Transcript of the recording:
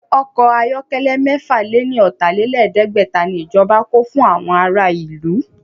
Ọkọ̀ ayọ̀kẹ́lẹ́ mẹ́fà lè ní ọ̀tà-lé-lẹ̀ẹ́dẹ́gbẹ̀ta ni ìjọba kó fún àwọn ará ìlú